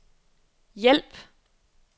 hjælp